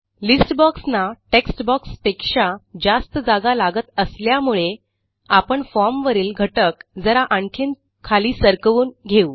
list बॉक्सना text बॉक्सपेक्षा जास्त जागा लागत असल्यामुळे आपण formवरील घटक जरा आणखीन खाली सरकवून घेऊ